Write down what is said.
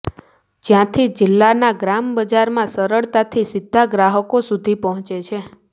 જ્યાંથી જિલ્લાના ગ્રામ બજારમાં સરળતાથી સીધા ગ્રાહકો સુધી પહોંચે છે